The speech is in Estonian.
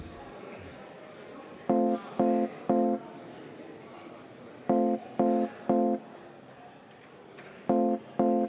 Vaheaeg 10 minutit.